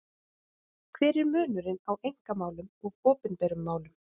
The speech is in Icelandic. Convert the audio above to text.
Hver er munurinn á einkamálum og opinberum málum?